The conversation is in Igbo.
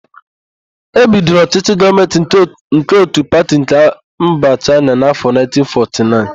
E bidoro ọchỊchỊ gọọmentị nke ótù pati nke mba n'áfọ 1949.